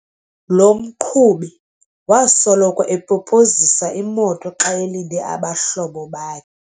Lo mqhubi wasoloko epopozisa imoto xa elinde abahlobo bakhe.